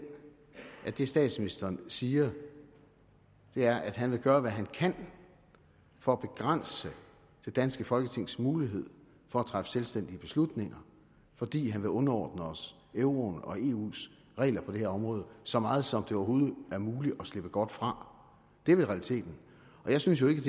at det statsministeren siger er at han vil gøre hvad han kan for at begrænse det danske folketings mulighed for at træffe selvstændige beslutninger fordi han vil underordne os euroen og eus regler på det her område så meget som det overhovedet er muligt at slippe godt fra det er vel realiteten jeg synes jo ikke